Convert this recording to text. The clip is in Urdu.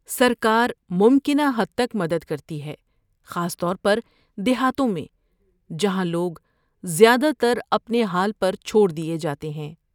سرکار ممکنہ حد تک مدد کرتی ہے، خاص طور پر دیہاتوں میں، جہاں لوگ زیادہ تر اپنے حال پر چھوڑ دیے جاتے ہیں۔